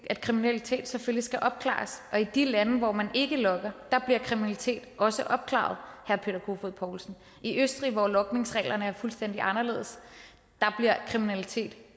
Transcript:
at kriminalitet selvfølgelig skal opklares og at i de lande hvor man ikke logger bliver kriminalitet også opklaret herre peter kofod poulsen i østrig hvor logningsreglerne er fuldstændig anderledes bliver kriminalitet